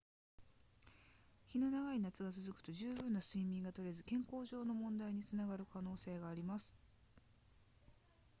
日の長い夏が続くと十分な睡眠がとれず健康上の問題につながる可能性があります